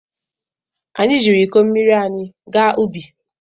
Anyị jiiri iko mmiri anyị gaa ubi.